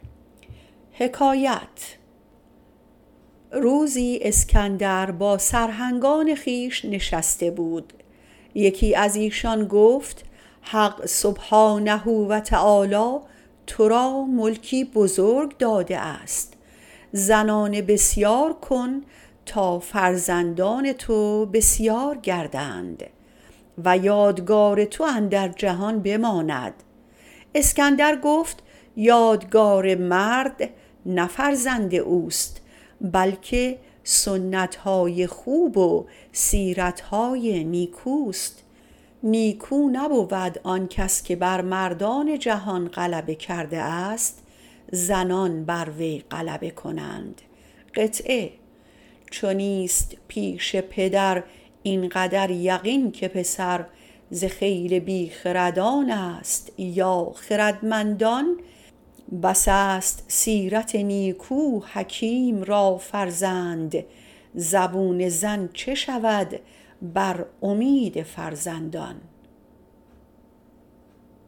روزی اسکندر با سرهنگان خویش برنشسته بود یکی از ایشان گفت خداوند - سبحانه - تو را ملک بزرگ داده است زنان بسیار کن تا فرزندان تو بسیار گردند و یادگار تو اندر جهان بماند جواب داد که یادگار مرد نه فرزندان اوست بلکه سنتهای خوب و سیرتهای نیکوست نیکو نبود آن کس که بر مردان جهان غلبه کرده است زنان بر وی غلبه کنند چو نیست پیش پدر اینقدر یقین که پسر ز خیل بی خردان است یا خردمندان بس است سیرت نیکو حکیم را فرزند زبون زن چه شود بر امید فرزندان